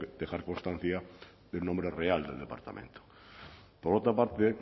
dejar constancia del nombre real del departamento por otra parte